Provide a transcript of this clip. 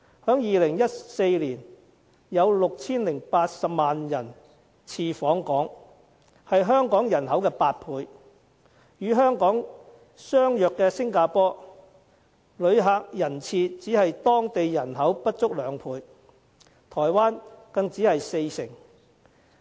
在2014年，有 6,080 萬人次訪港，是香港人口的8倍；與香港相似的新加坡，旅客人次只是當地人口不足兩倍，台灣更只是四成。